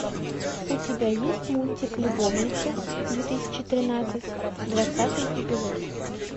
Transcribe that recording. у тебя есть мультик любовница две тысячи тринадцать двадцатый эпизод